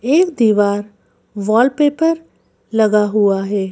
एक दीवार वॉलपेपर लगा हुआ है।